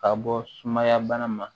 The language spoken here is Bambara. Ka bɔ sumaya bana ma